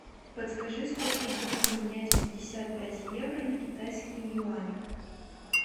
подскажи сколько будет поменять пятьдесят пять евро на китайские юани